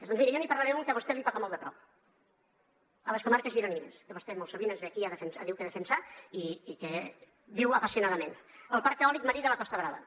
doncs miri jo n’hi parlaré d’un que a vostè la toca molt de prop a les comarques gironines que vostè molt sovint ens ve aquí diu que a defensar i que viu apassionadament el parc eòlic marí de la costa brava